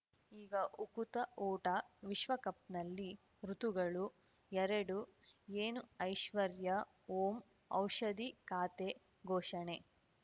ಈಗ ಉಕುತ ಊಟ ವಿಶ್ವಕಪ್‌ನಲ್ಲಿ ಋತುಗಳು ಎರಡು ಏನು ಐಶ್ವರ್ಯಾ ಓಂ ಔಷಧಿ ಖಾತೆ ಘೋಷಣೆ